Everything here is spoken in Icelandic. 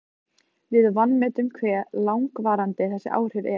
Við vanmetum hve langvarandi þessi áhrif eru.